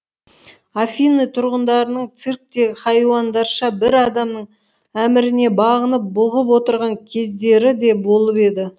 афины тұрғындарының цирктегі хайуандарша бір адамның әміріне бағынып бұғып отырған кездері де болып еді